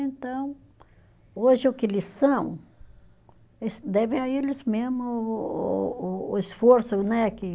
Então, hoje o que eles são, eles devem a eles mesmo o o o o esforço, né, que